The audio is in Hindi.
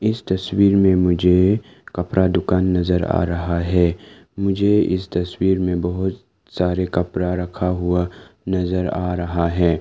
इस तस्वीर में मुझे कपड़ा दुकान नजर आ रहा है मुझे इस तस्वीर में बहुत सारे कपड़ा रखा हुआ नजर आ रहा है।